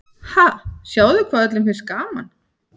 Ha, sjáðu hvað öllum finnst gaman.